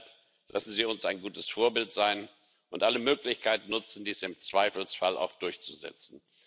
Und deshalb lassen Sie uns ein gutes Vorbild sein und alle Möglichkeiten nutzen und dies im Zweifelsfall auch durchsetzen.